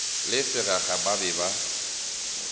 le seraga ba be ba